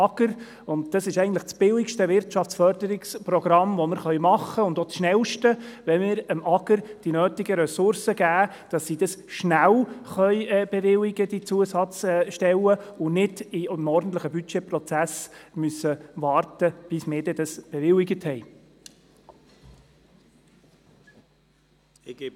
Es ist das billigste und das schnellste Wirtschaftsförderungsprogramm, das wir realisieren können, wenn wir dem AGR die nötigen Ressourcen geben, damit die Zusatzstellen rasch bewilligt werden können und sie nicht innerhalb des ordentlichen Budgetprozesses warten müssen, bis wir sie bewilligen.